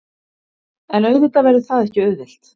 En auðvitað verður það ekki auðvelt